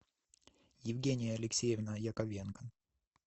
евгения алексеевна яковенко